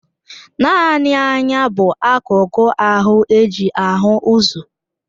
Naanị anya bụ akụku ahụ eji ahụ ụzọ.